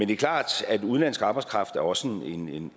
det er klart at udenlandsk arbejdskraft også er